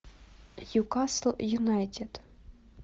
ньюкасл юнайтед